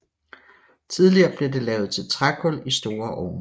Tidligere blev det lavet til trækul i store ovne